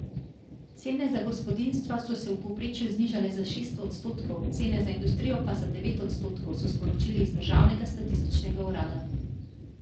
Cene za gospodinjstva so se v povprečju znižale za šest odstotkov, cene za industrijo pa za devet odstotkov, so sporočili iz državnega statističnega urada.